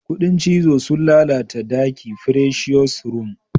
Kudin cizo sun lalata daki presious room.